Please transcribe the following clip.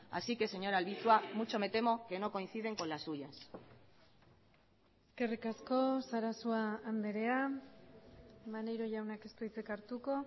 así que señora albizua mucho me temo que no coinciden con las suyas eskerrik asko sarasua andrea maneiro jaunak ez du hitzik hartuko